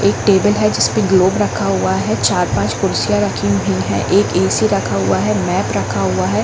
एक टेबल है जिसपे ग्लोब रखा हुआ है चार-पाँच कुर्सियाँ रखी हुई हैं एक ए_सी रखा हुआ है मैप रखा हुआ है।